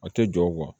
A tɛ jɔ